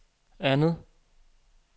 andet